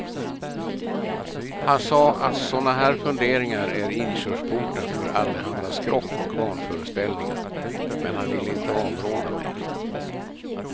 Han sade att såna här funderingar är inkörsporten för allehanda skrock och vanföreställningar, men han ville inte avråda mig.